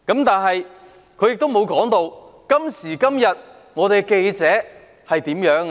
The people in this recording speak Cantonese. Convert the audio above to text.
但是，他沒有提到，今時今日的記者是怎樣的呢？